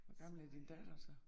Hvor gammel er din datter så?